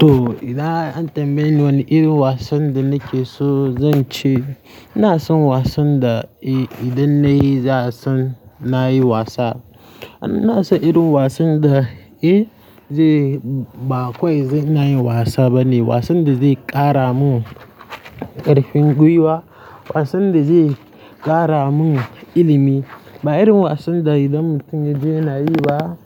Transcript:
To, idan an tambaye ni wane irin wasan da nake so zan ci, ina son wasan da, eh, idan na yi, za a san na yi wasa. Ina son irin wasan da, eh, zai, ba kawai zai na yi wasa bane, wasan da zai ƙara mun ƙarfin gwiwa, wasan da zai ƙara mun ilimi. Ba irin wasan da idan mutumin jiya yana yi ba,